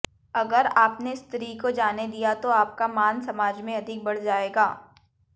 अगर आपने स्त्री को जाने दिया तो आपका मान समाज में अधिक बढ़ जाएगा